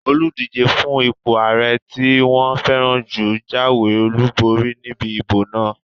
Olùdíjé fún ipò ààrẹ tí wọ́n fẹ́ràn jù jáwé olùborí níbi ìbò náà